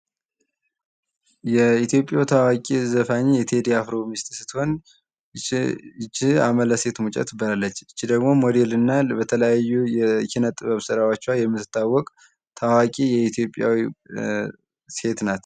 ይች በምስሉ ላይ የምናያት ሴት ይታዋቂው ዘፋኝ የቴድ አፍሮ ሚስት ነች። አናንተ ከዚህ በፊት ታውቋታላችሁ? ስምዋስ ማን ይባላል?